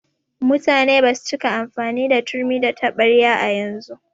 Mutane basu cika amfani da turmi da taɓarya yanzu.